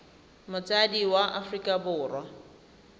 motsadi wa mo aforika borwa